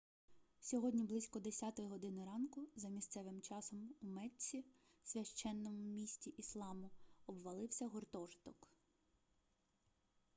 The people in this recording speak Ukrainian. сьогодні близько 10 години ранку за місцевим часом у мецці священному місті ісламу обвалився гуртожиток